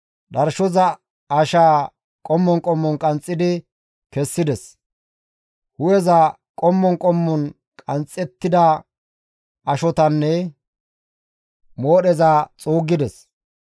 Dharshoza ashaa qommon qommon qanxxidi kessides; hu7eza, qommon qommon qanxxettida ashotanne moodheza xuuggides.